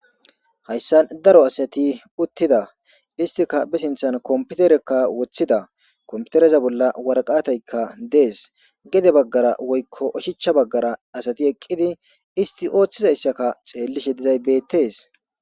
Hayssan daro asati uttida istika be sinthan kompiterekka woththida komputereza bolla warqataykka dees gede baggara woykko oshicha baggara asati eqqidi isti ooththida issaka xeellishe dizay beettees.